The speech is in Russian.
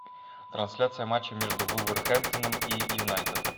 трансляция матча между вулверхэмптоном и юнайтед